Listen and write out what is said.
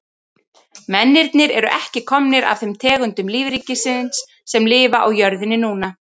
Mennirnir eru ekki komnir af þeim tegundum lífríkisins sem lifa á jörðinni núna.